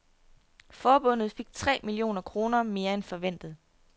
Forbundet fik tre millioner kroner mere end forventet.